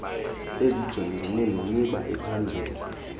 ezijongene nemiba ephambili